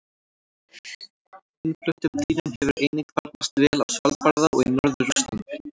Innfluttum dýrum hefur einnig farnast vel á Svalbarða og í norður Rússlandi.